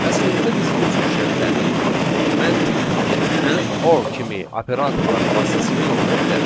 Əslində biz bu cür şərtləri məntiq tipli and, or kimi operatorların vasitəsilə yoxlaya bilərik.